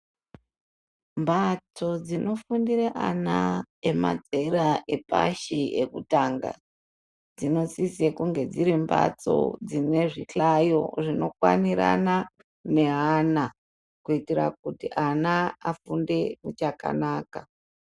Mbatso dzinofundire ana emazera yepashi ekutanga dzinosise kunge dziri mbatso dzine zvihlayo zvinokwanirana neana kuitira kuti ana afunde muchakanaka.